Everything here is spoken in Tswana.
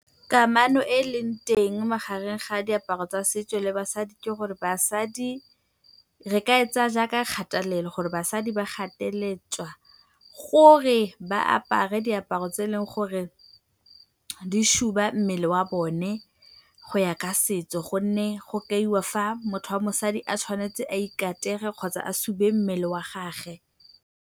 Kamano e e leng teng magareng ga diaparo tsa setso le basadi ke gore basadi re ka e tsaya jaaka kgatelelo gore basadi ba gateletswe gore ba apare diaparo tse eleng gore di suba mmele wa bone go ya ka setso gonne go kaiwa fa motho wa mosadi a tshwanetse a ikatege kgotsa a sube mmele wa gagwe.